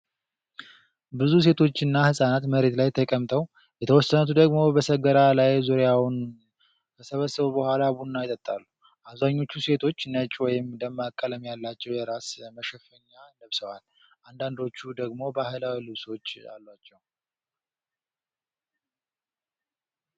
ብዙ ሴቶችና ሕፃናት መሬት ላይ ተቀምጠው፣ የተወሰኑት ደግሞ በሰገራ ላይ ዙሪያውን ከሰበሰቡ በኋላ ቡና ይጠጣሉ። አብዛኞቹ ሴቶች ነጭ ወይም ደማቅ ቀለም ያላቸው የራስ መሸፈኛ ለብሰዋል፣ አንዳንዶቹ ደግሞ ባህላዊ ልብሶች አሏቸው።